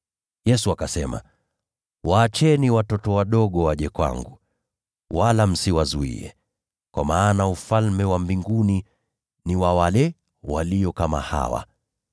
Yesu akasema, “Waacheni watoto wadogo waje kwangu, wala msiwazuie, kwa maana Ufalme wa Mbinguni ni wa wale walio kama hawa.”